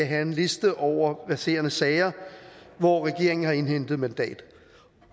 have en liste over verserende sager hvor regeringen har indhentet mandat